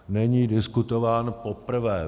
Není diskutován poprvé.